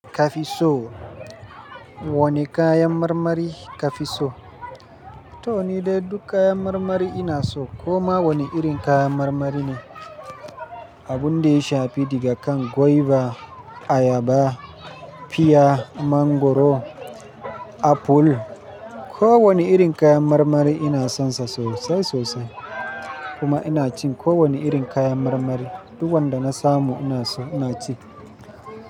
Kafi so? Wane kayan marmari kafi so? To ni dai duk kayan marmari ina so. Kuma wane irin kayan marmari ne? Abun da ya shafi daga kan goiba, ayaba, piya, mangoro, aful. Ko wane irin kayan marmari ina sonsa sosai sosai. Kuma ina cin ko wane irin kayan marmari. Du wanda na samu ina so ina ci.